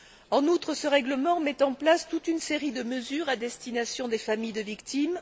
En outre, ce règlement met en place toute une série de mesures à destination des familles de victimes.